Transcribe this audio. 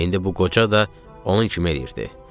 İndi bu qoca da onun kimi edirdi.